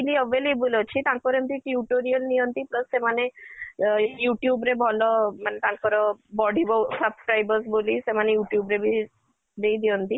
freely available ଅଛି ତାଙ୍କର ଏମିତି tutorial ନିଅନ୍ତି plus ସେମାନେ ଅ YouTube ରେ ଭଲ ମାନେ ତାଙ୍କର ବଢିବ subscribers ବୋଲି ସେମାନେ YouTube ରେ ବି ଦେଇ ଦିଅନ୍ତି